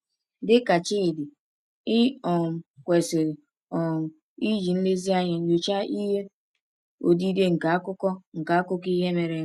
Dị ka Chidi, i um kwesịrị um iji nlezianya nyochaa ihe odide nke akụkọ nke akụkọ ihe mere eme.